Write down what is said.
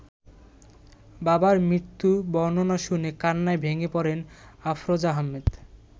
বাবার মৃত্যুর বর্ণনা শুনে কান্নায় ভেঙে পড়েন আফরোজা আহমেদ।